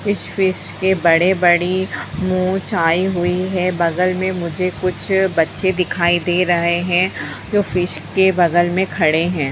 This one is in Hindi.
इस फिश की बड़े-बड़ी मूंछ आई हुई है बगल में मुझे कुछ बच्चे दिखाई दे रहे हैं जो फिश के बगल में खड़े हैं।